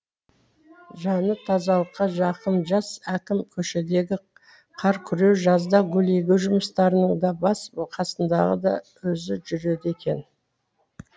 жаны тазалыққа жақын жас әкім көшедегі қар күреу жазда гүл егу жұмыстарының да бас қасындағы да өзі жүреді екен